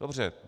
Dobře.